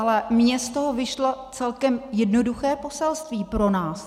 Ale mně z toho vyšlo celkem jednoduché poselství pro nás.